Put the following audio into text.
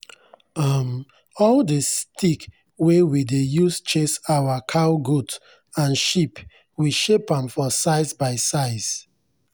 um all the stick wey we dey use chase our cowgoat and sheep we shape am for size by size.